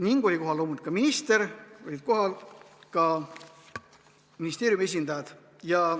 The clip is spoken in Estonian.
Kohal oli loomulikult ka minister, olid kohal ka ministeeriumi esindajad.